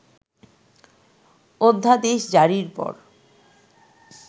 অধ্যাদেশজারির পর